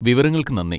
വിവരങ്ങൾക്ക് നന്ദി.